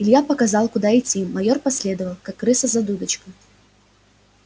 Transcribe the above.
илья показал куда идти майор последовал как крыса за дудочкой